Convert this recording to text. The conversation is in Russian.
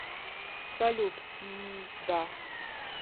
салют мм да